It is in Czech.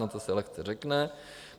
No to se lehce řekne.